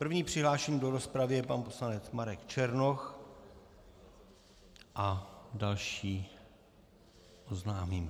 První přihlášený do rozpravy je pan poslanec Marek Černoch a další oznámím.